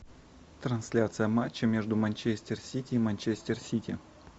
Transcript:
трансляция матча между манчестер сити и манчестер сити